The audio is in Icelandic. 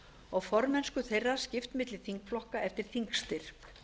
og formennsku þeirra skipt milli þingflokka eftir þingstyrk